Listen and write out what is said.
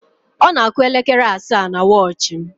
Ọ na-àkụ́ elekere asaa na wọchị m.